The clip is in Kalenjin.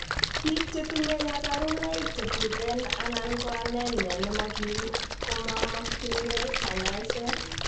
Biik chetinye kabarunoik chetuten anan ko anemia nemokim komomokyingei kanyaiset